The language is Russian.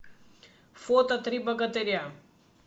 фото три богатыря